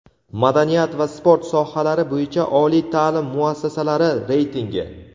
madaniyat va sport sohalari bo‘yicha oliy taʼlim muassasalari reytingi.